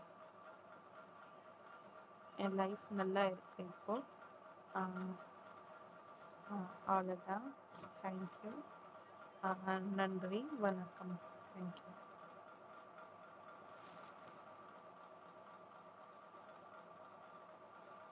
என் life நல்லா இருக்கு இப்போ அஹ் அஹ் அவ்வளவுதான் thank you ஆஹ் நன்றி வணக்கம் thank you